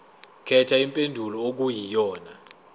khetha impendulo okuyiyona